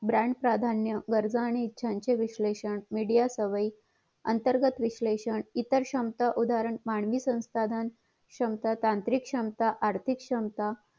branch प्राधान्य गरजा आणि ईच्छाचे विश्लेषण मीडिया विश्लेषण अंतर्गत विश्लेषण इतर क्षमता उदाहरण मानवी स्वसाधन क्षमता तांत्रिक क्षमता आर्थिक क्षमता